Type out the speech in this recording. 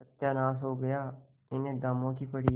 सत्यानाश हो गया इन्हें दामों की पड़ी है